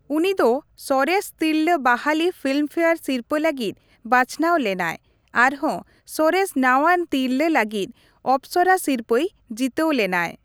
ᱩᱱᱤ ᱫᱚ ᱥᱚᱨᱮᱥ ᱛᱤᱨᱞᱟᱹ ᱵᱟᱦᱟᱞᱤ ᱯᱷᱤᱞᱢᱯᱷᱮᱭᱟᱨ ᱥᱤᱨᱯᱟᱹ ᱞᱟᱹᱜᱤᱫ ᱵᱟᱪᱷᱚᱱᱟᱣ ᱞᱮᱱᱟᱭ ᱟᱨᱦᱚᱸ ᱥᱚᱨᱮᱥ ᱱᱟᱣᱟᱱ ᱛᱤᱨᱞᱟᱹ ᱞᱟᱹᱜᱤᱫ ᱚᱯᱥᱚᱨᱟ ᱥᱤᱨᱯᱟᱹᱭ ᱡᱤᱛᱟᱹᱣ ᱞᱮᱱᱟᱭ ᱾